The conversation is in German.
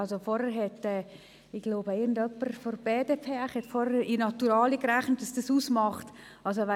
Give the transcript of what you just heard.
Jemand von der BDP hat vorhin ausgerechnet, was dieser Betrag in Naturalien gerechnet ausmachen würde.